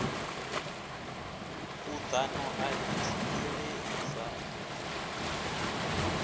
khuḓano a i thivhelei sa